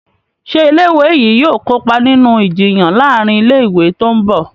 Ṣe ilé ìwé yí yóò kópa nínú Ìjiyàn láàrin ilé ìwé tó ńbo?